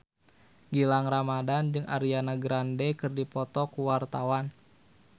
Gilang Ramadan jeung Ariana Grande keur dipoto ku wartawan